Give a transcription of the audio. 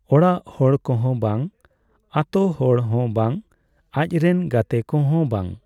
ᱚᱲᱟᱜ ᱦᱚᱲ ᱠᱚᱦᱚᱸ ᱵᱟᱝ ᱾ ᱟᱛᱳ ᱦᱚᱲ ᱦᱚᱸ ᱵᱟᱝ ᱾ ᱟᱡ ᱨᱮᱱ ᱜᱟᱛᱮ ᱠᱚᱦᱚᱸ ᱵᱟᱝ ᱾